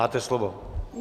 Máte slovo.